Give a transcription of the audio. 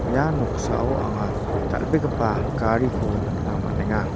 ia noksao anga dal·begipa gariko nikna man·enga.